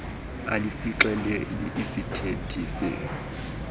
alisixeleli iisithethi se